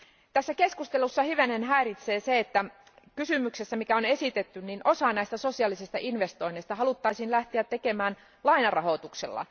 Tässä keskustelussa hivenen häiritsee se, mikä kysymyksessäkin on esitetty, että osa näistä sosiaalisista investoinneista haluttaisiin tehdä lainarahoituksella.